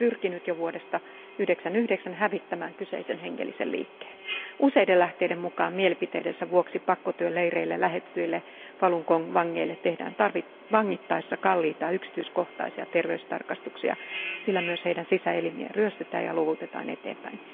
Kiina on pyrkinyt jo vuodesta 1999 hävittämään kyseisen hengellisen liikkeen. Useiden lähteiden mukaan mielipiteidensä vuoksi pakkotyöleireille lähetetyille Falun Gong vangeille tehdään vangittaessa kalliita, yksityiskohtaisia terveystarkastuksia, sillä myös heidän sisäelimiään ryöstetään ja luovutetaan eteenpäin.